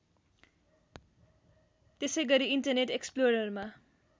त्यसैगरी इन्टरनेट एक्सप्लोररमा